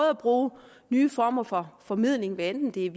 at bruge nye former for formidling hvad enten det er